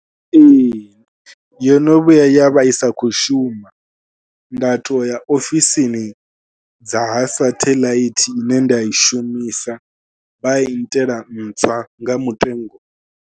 Ee yo no vhuya ya vha i sa khou shuma, nda tou ya ofisini dza ha saṱhelaithi ine nda i shumisa vha i nnyitela ntswa nga mutengo.